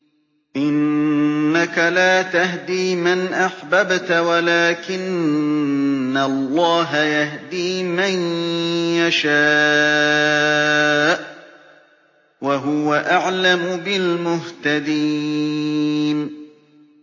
إِنَّكَ لَا تَهْدِي مَنْ أَحْبَبْتَ وَلَٰكِنَّ اللَّهَ يَهْدِي مَن يَشَاءُ ۚ وَهُوَ أَعْلَمُ بِالْمُهْتَدِينَ